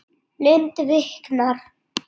Lund viknar.